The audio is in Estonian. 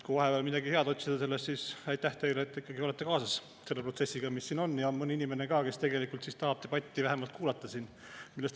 Kui vahepeal midagi head otsida sellest, siis aitäh teile, et te olete ikkagi kaasas selle protsessiga, mis siin on, ja on mõni inimene ka, kes tegelikult tahab debatti vähemalt kuulata ka.